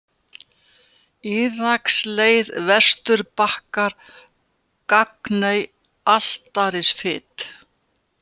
Írskaleið, Vesturbakkar, Gagney, Altarisfit